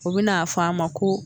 O be n'a fɔ an ma ko